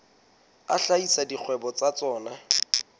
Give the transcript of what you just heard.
a hlahisa dikgwebo tsa tsona